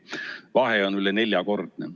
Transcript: Vahe on üle neljakordne.